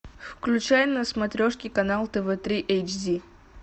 включай на смотрешке канал тв три эйч ди